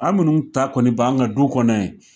An minnu ta kɔni b'an ka du kɔnɔ yen